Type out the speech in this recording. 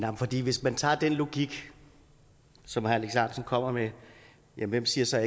hvis man tager den logik som herre alex ahrendtsen kommer med hvem siger så